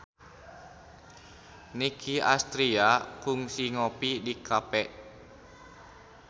Nicky Astria kungsi ngopi di cafe